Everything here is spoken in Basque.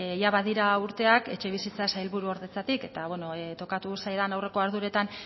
badira urteak etxebizitza sailburuordetzatik eta tokatu zaidan aurreko arduretan